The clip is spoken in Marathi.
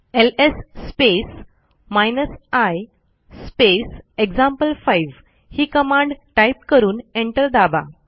LS space hyphen I space example ही कमांड टाईप करून एंटर दाबा